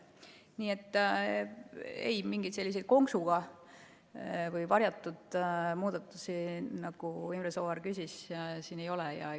Nii et ei, mingeid selliseid konksuga või varjatud muudatusi, nagu Imre Sooäär küsis, siin ei ole.